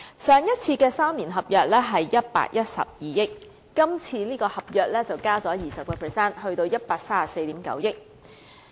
上一次3年合約的水價是112億元，今次這份合約則加價 20%， 達到 134.9 億元。